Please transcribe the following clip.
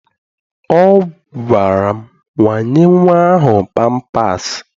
Ọ gwara m, wanye nnwa ahụ pampaasị!